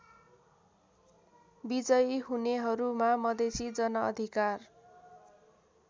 विजयी हुनेहरूमा मधेसी जनअधिकार